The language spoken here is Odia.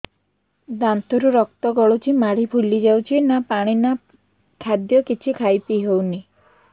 ଦାନ୍ତ ରୁ ରକ୍ତ ଗଳୁଛି ମାଢି ଫୁଲି ଯାଉଛି ନା ପାଣି ନା ଖାଦ୍ୟ କିଛି ଖାଇ ପିଇ ହେଉନି